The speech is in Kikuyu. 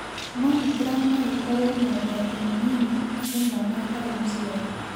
Mamogram no ikũo ĩrĩ na ũgwati mũnini harĩ mwana atarĩ mũciare.